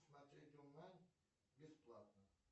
смотреть онлайн бесплатно